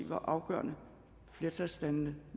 var afgørende og flertalsdannende